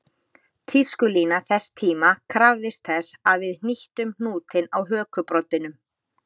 Tískulína þess tíma krafðist þess að við hnýttum hnútinn á hökubroddinum